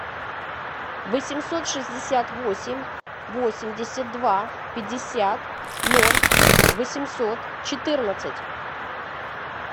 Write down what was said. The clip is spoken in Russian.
восемьсот шестьдесят восемь восемьдесят два пятьдесят ноль восемьсот четырнадцать